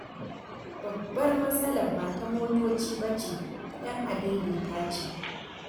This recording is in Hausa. Babbar matsalar ba ta motoci ba ce, ta 'yan adaidaita ce.